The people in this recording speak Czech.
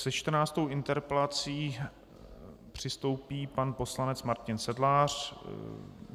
Se čtrnáctou interpelací přistoupí pan poslanec Martin Sedlář.